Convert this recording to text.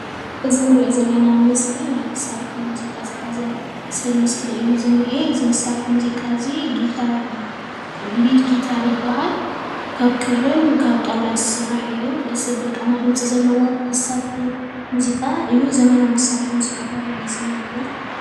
እዚ እንሪኦ ዘለና ምስሊ ናይ መሳርሒ ሙዚቃ ዝሓዘ ሰብ ምስሊ እዩ ዝንኤ እዚ መሳርሒ ሙዚቃ እዚ ሊድ ጊታር ይብሃል። ካብ ክርን ካብ ጣዉላን ዝስራሕ እዩ። ደስ ዘብል ቃና ድምፂ ዘለዎ መሳርሒ ሙዚቃ እዩ። ዘመናዊ መሳርሒ ሙዚቃ ተባሂሉ እዩ ዝምደብ።